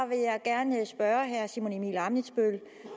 vil jeg gerne spørge herre simon emil ammitzbøll